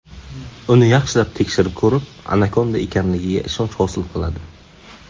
Uni yaxshilab tekshirib ko‘rib, anakonda ekanligiga ishonch hosil qiladi.